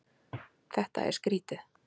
Þetta er skrýtið.